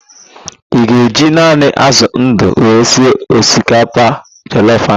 Ị ga-eji naanị ázụ̀ ndụ wee sie osikapa jọlọf ahụ?